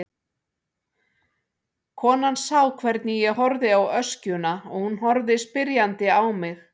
Konan sá hvernig ég horfði á öskjuna og hún horfði spyrjandi á mig.